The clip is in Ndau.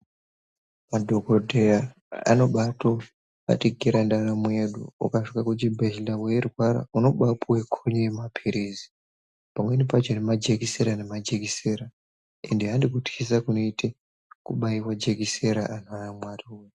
Madhokodheya anobaatobatikira ndaramo yedu ukasvika kuchibhedhlera weirwara unobaapuwe khonyo yemapirizi pamweni pacho nemajekisera nemajekisera ende handhi kuthisa kunoita kubaiwa jekisera anhu aMwariwee.